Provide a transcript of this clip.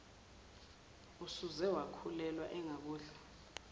usuze wakhulelwa engakudla